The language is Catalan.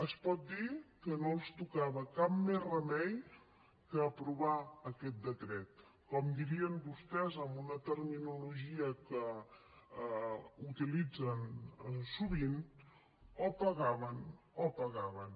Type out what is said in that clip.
es pot dir que no els tocava cap més remei que aprovar aquest decret com dirien vostès amb una terminologia que utilitzen sovint o pagaven o pagaven